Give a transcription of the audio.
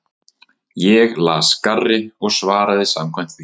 Ég las garri og svaraði samkvæmt því.